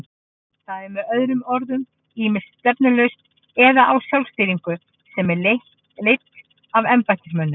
Það er með öðrum orðum ýmist stefnulaust eða á sjálfstýringu sem er leidd af embættismönnum.